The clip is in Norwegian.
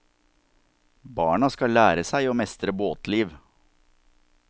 Barna skal lære seg å mestre båtliv.